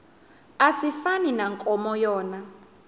asifani nankomo yona